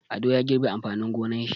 Ado ya girbe amfanin gonar shi.